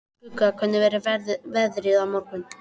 Skugga, hvernig er veðrið á morgun?